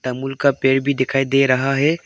दामूल का पेड़ भी दिखाई दे रहा है।